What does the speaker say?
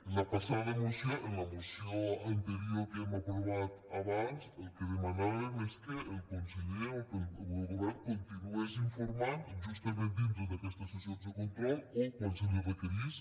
en la passada moció en la moció anterior que hem aprovat abans el que demanàvem és que el conseller o el govern continués informant justament dintre d’aquestes sessions de control o quan se li requerís